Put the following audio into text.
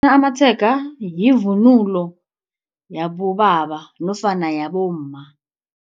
Amatshega yivunulo yabobaba nofana yabomma.